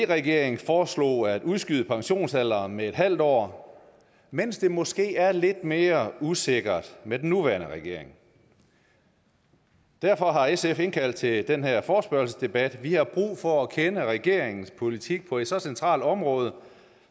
regeringen foreslog at udskyde pensionsalderen med en halv år mens det måske er lidt mere usikkert med den nuværende regering derfor har sf indkaldt til den her forespørgselsdebat vi har brug for at kende regeringens politik på et så centralt område